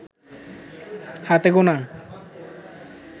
হাতে গোনা